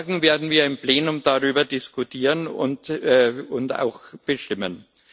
Morgen werden wir im Plenum darüber diskutieren und auch abstimmen.